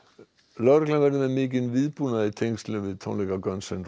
lögreglan verður með mikinn viðbúnað í tengslum við tónleika